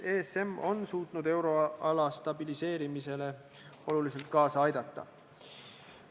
ESM on suutnud euroala stabiliseerimisele oluliselt kaasa aidata.